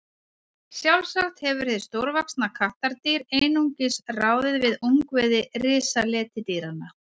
Sjálfsagt hefur hið stórvaxna kattardýr einungis ráðið við ungviði risaletidýranna.